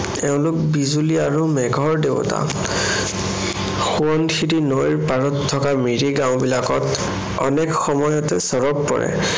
এওঁলোক বিজুলী আৰু মেঘৰ দেৱতা। সোৱণশিৰি নৈৰ পাৰত থকা মিৰি গাওঁবিলাকত অনেক সময়ত চৰগ পৰে।